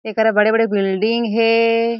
एकरा बड़े-बड़े बिल्डिंग हे।